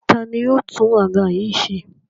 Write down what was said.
Ta ni yóò tún àga yìí ṣe?